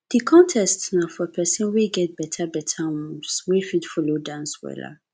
di contest na for pesin wey get beta beta moves wey fit folo dance wella